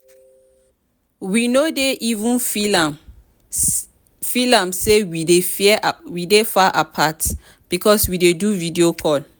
we no dey even feel am sey we dey far apart because we dey do video call.